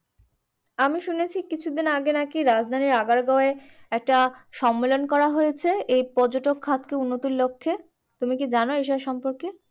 আমি শুনেছি কিছুদিন আগে নাকি রাজধানীর আগারগাঁওয়ে একটা সম্মেলন করা হয়েছে এই পর্যটক খাতকে উন্নতির লক্ষে তুমি কি জানো এইসব সম্পর্কে।